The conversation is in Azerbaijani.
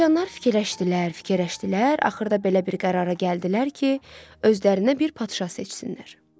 Siçanlar fikirləşdilər, fikirləşdilər, axırda belə bir qərara gəldilər ki, özlərinə bir padşah seçsinlər.